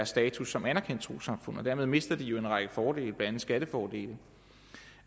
status som anerkendt trossamfund dermed mister de jo en række fordele blandt andet skattefordele